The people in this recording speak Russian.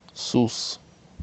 сус